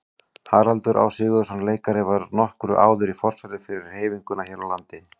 Haraldur Á. Sigurðsson leikari var nokkru áður í forsvari fyrir hreyfinguna hér á landi.